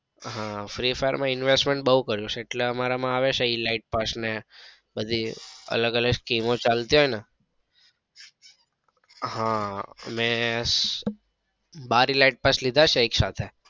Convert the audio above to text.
હા free fire માં investment બઉ કર્યું છે એટલે અમારા માં આવે છે elite પાસ ને બધી અલગ અલગ scheme ચાલતી હોય ને હમ મેં બાર elite પાસ લીધા છે એક સાથે.